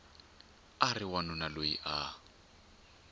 a ri wanuna loyi a